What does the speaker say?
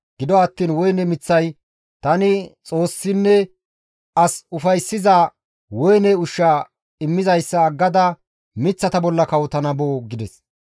Gido attiin woyne miththay, ‹Tani Xoossinne as ufayssiza woyne ushsha immizayssa aggada miththata bolla kawotana boo?› gides.